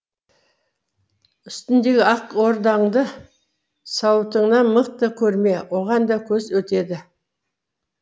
үстіңдегі ақ ордаңды сауытыңнан мықты көрме оған да көз өтеді